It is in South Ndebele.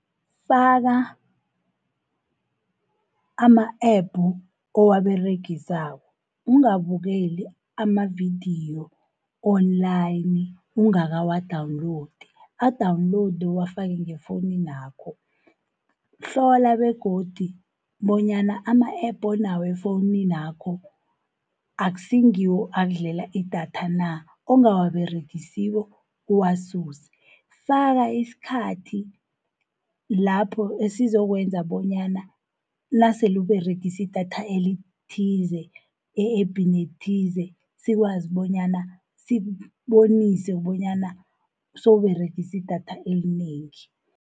Faka ama-app owaberegisako, ungabukeli amavidiyo Online ungakawa-downloadi, a-downloade owafake ngefowunini yakho. Hlola begodi bonyana ama-app onawo efowunini yakho akusingiwo akudlela idatha na, ongabawaberegisiko uwasuse. Faka isikhathi lapho esizokwenza bonyana nasele uberegisa idatha elithize e-appini ethize sikwazi bonyana sikubonise bonyana sowuberegise idatha elinengi.